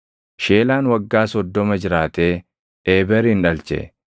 Sheelaan waggaa 30 jiraatee Eeberin dhalche.